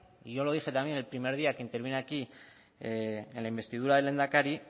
y yo lo dije también el primer día que intervine aquí en la investidura del lehendakari